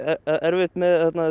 erfitt með